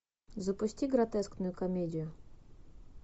запусти гротескную комедию